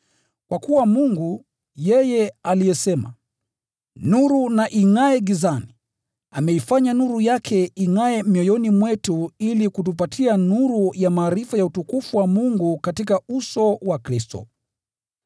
Kwa kuwa Mungu, yeye aliyesema, “Nuru na ingʼae gizani,” ameifanya nuru yake ingʼae mioyoni mwetu ili kutupatia nuru ya maarifa ya utukufu wa Mungu katika uso wa Kristo.